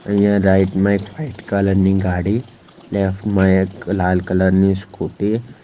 અહીંયા રાઈટ મા એક વ્હાઈટ કલર ની ગાડી લેફ્ટ માં એક લાલ કલર ની સ્કુટી --